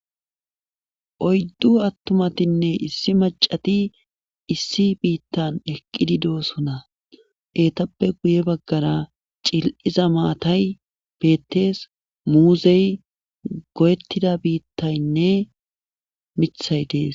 oyddu attumatinne issi macati issi biittan eqqidi doosona etappe guye baggara cil7iza maatay bettees muuzey go7ettida biittaynne mithay dees